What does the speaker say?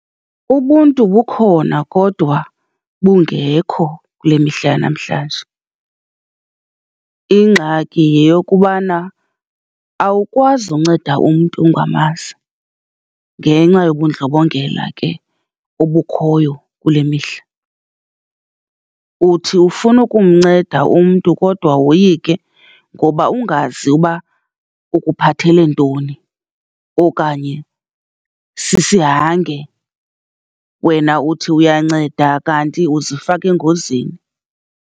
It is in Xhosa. Ubuntu bukhona kodwa bungekho kule mihla yanamhlanje. Ingxaki yeyokubana awukwazi unceda umntu ungamanzi, ngenxa yobundlobongela ke obukhoyo kule mihla. Uthi ufuna ukumnceda umntu kodwa woyike, ngoba ungazi uba ukuphathele ntoni, okanye sisihange. Wena uthi uyanceda kanti ukuzifaka engozini.